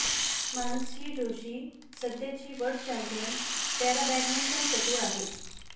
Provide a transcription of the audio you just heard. मानसी जोशी सध्याची सध्याची world champion पॅराबॅडमिंटनपटू आहे